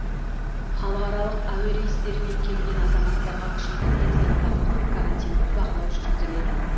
халықаралық әуе рейстерімен келген азаматтарға күшейтілген санитарлық карантиндік бақылау жүргізіледі